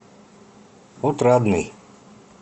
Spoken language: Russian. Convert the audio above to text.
отрадный